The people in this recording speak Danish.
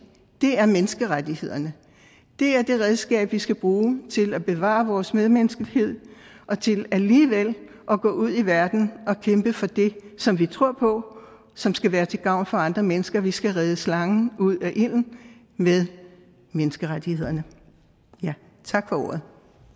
er jernstangen menneskerettighederne det er det redskab vi skal bruge til at bevare vores medmenneskelighed og til alligevel at gå ud i verden og kæmpe for det som vi tror på og som skal være til gavn for andre mennesker vi skal redde slangen ud af ilden med menneskerettighederne tak for ordet